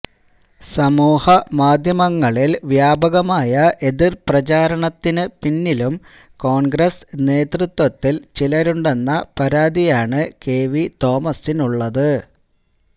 സമൂഹ മാധ്യമങ്ങളിൽ വ്യാപകമായ എതിര് പ്രചാരണത്തിന് പിന്നിലും കോൺഗ്രസ് നേതൃത്വത്തിൽ ചിലരുണ്ടെന്ന പരാതിയാണ് കെവി തോമസിനുള്ളത്